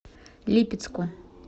липецку